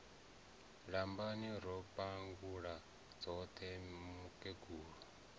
lambani ro pangula dzoṱhe mukegulu